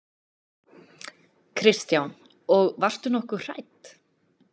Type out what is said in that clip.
Kristján: Og varstu nokkuð hrædd?